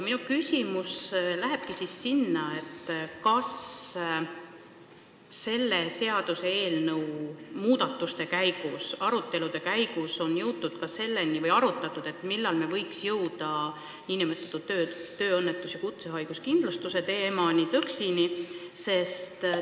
Minu küsimus ongi see: kas selle seaduseelnõu arutelude käigus on arutatud, millal me võiksime jõuda tööõnnetus- ja kutsehaiguskindlustuse teemani, TÕKS-ini?